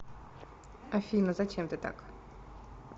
афина зачем ты так